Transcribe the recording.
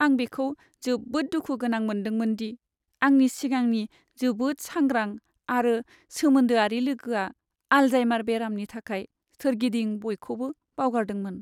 आं बेखौ जोबोद दुखुगोनां मोनदोंमोन दि आंनि सिगांनि जोबोद सांग्रां आरो सोमोन्दोआरि लोगोआ आल्जाइमार बेरामनि थाखाय सोरगिदिं बयखौबो बावगारदोंमोन!